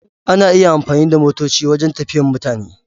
Ana iya amfani da motoci wajen tafiyan mutane.